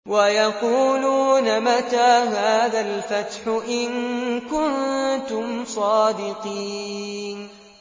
وَيَقُولُونَ مَتَىٰ هَٰذَا الْفَتْحُ إِن كُنتُمْ صَادِقِينَ